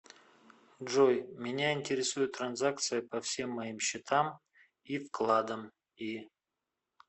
джой меня интересует транзакция по всем моим счетам и вкладом и